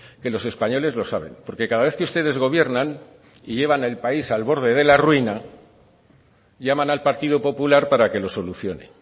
que los españoles lo saben porque cada vez que ustedes gobiernan y llevan al país al borde de la ruina llaman al partido popular para que lo solucione